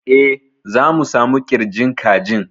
E, za mu samu ƙirjin kajin.